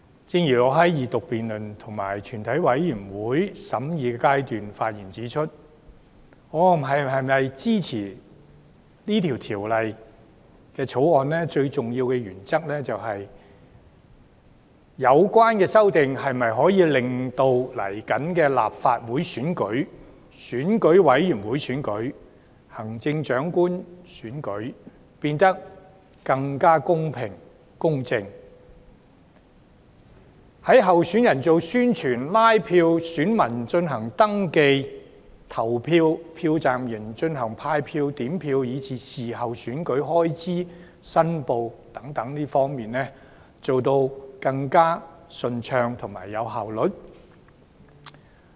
正如我在二讀辯論及全體委員會審議階段時發言指出，我是否支持《條例草案》，最重要的原則是有關的修訂能否令隨後的立法會選舉、選舉委員會選舉和行政長官選舉變得更公平公正；以及在候選人進行宣傳和拉票、選民進行登記和投票、票站人員派票和點票，以至候選人事後申報選舉開支等方面，會否更加順暢和有效率。